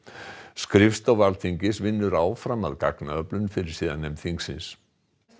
skrifstofa Alþingis vinnur áfram að gagnaöflun fyrir siðanefnd þingsins